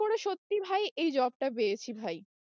করে সত্যি ভাই এই job টা পেয়েছি ভাই।